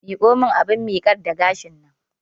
Miƙo mun abun miƙar da gashin nan!